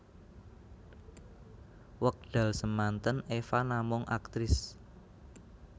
Wekdal semanten Eva namung aktris